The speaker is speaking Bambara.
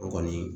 O kɔni